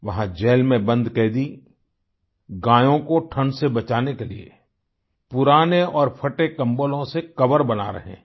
वहाँ जेल में बंद कैदी गायों को ठण्ड से बचाने के लिए पुराने और फटे कम्बलों से कोवर बना रहे हैं